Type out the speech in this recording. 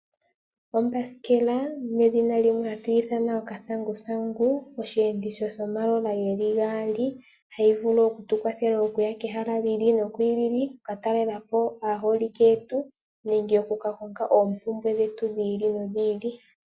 Ombasikela, nedhina limwe hatu ithana okathanguthangu, osheenditho shomalola gaali, hayi tukwathele okuya komahala gi ili nogi ili, okuka talelapo aaholike yetu, nenge okuka konga oompumbwe dhetu dhi ili nodhi ili.